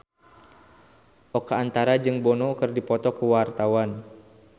Oka Antara jeung Bono keur dipoto ku wartawan